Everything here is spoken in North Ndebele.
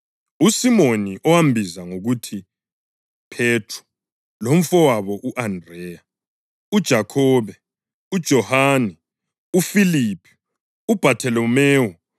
uSimoni (owambiza ngokuthi Phethro), lomfowabo u-Andreya, uJakhobe, uJohane, uFiliphu, uBhatholomewu,